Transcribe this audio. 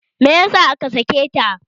Meyasa aka sake ta?